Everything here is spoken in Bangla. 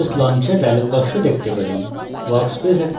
আমরা workspace launcher dialog box পাই